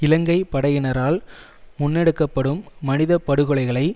இலங்கை படையினரால் முன்னெடுக்க படும் மனித படுகொலைகளை